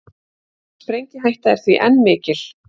Sprengihætta er því enn mikil